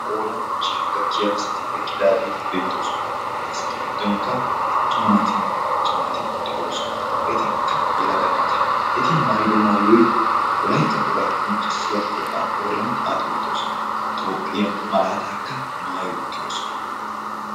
Qoodan ichchashaa gakkiya asati beettoosona. Ha asatu giddonkka attuma naatinne macca naati de'oosona. Etikka yelaga naata eti maayido maayoy wolaytta wogaa qonccissiya pooxaa qooriyan xaaxi uttidosona. Toophphiya malaataakka maayi uttidosona.